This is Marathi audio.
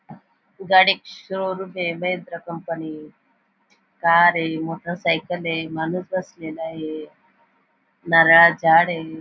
गाडीचे शोरूम ए महिंद्रा कंपनी कार ए मोटरसायकल ए माणूस बसलेला ए नारळाच झाड ए.